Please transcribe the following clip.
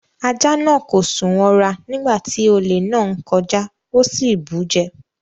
Ajá náà kò sùn wọra nígbà tí olè náà ń kọjá. Ó sì bù ú jẹ.